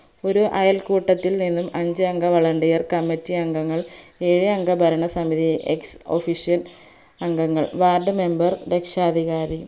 ഒര് അയൽക്കൂട്ടത്തിൽ നിന്നും അഞ്ചുഅംഗ volunteer committee അംഗങ്ങൾ ഏഴ് അംഗ ഭരണസമിതി ex official അംഗങ്ങൾ ward member രക്ഷാധികാരി